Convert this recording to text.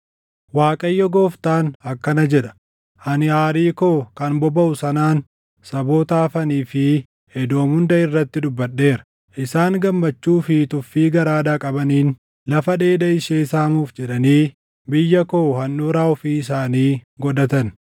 Waaqayyo Gooftaan akkana jedha: Ani aarii koo kan bobaʼu sanaan saboota hafanii fi Edoom hunda irratti dubbadheera; isaan gammachuu fi tuffii garaadhaa qabaniin lafa dheeda ishee saamuuf jedhanii biyya koo handhuuraa ofii isaanii godhatan.’